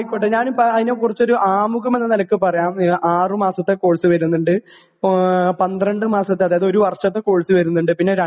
ആയിക്കോട്ടെ ഞാനും അതിനേകുറിച്ചൊരു ആമുഖമെന്ന നിലയ്ക്ക് പറയാം . ആറ് മാസത്തെ കോഴ്സ് വരുന്നുണ്ട് ഇപ്പോ പന്ത്രണ്ട് മാസത്തെ അതായത് ഒരു വർഷത്തെ കോഴ്സ് വരുന്നുണ്ട് പിന്നെ രണ്ടു